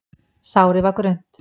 Sárið var grunnt.